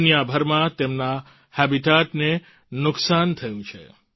દુનિયાભરમાં તેમના habitatને નુકસાન થયું છે